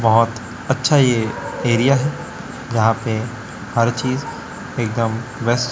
बहोत अच्छा यह एरिया है यहां पे हर चीज एकदम --